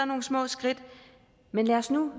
nogle små skridt men lad os nu